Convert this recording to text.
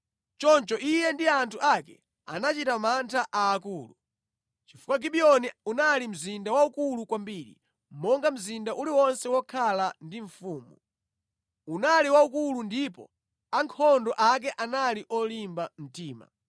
Choncho iye ndi anthu ake anachita mantha aakulu, chifukwa Gibiyoni unali mzinda waukulu kwambiri, monga mzinda uliwonse wokhala ndi mfumu. Unali waukulu ndipo ankhondo ake anali olimba mtima.